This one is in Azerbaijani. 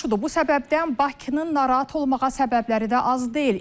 Bu səbəbdən Bakının narahat olmağa səbəbləri də az deyil.